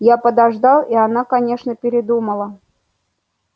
я подождал и она конечно передумала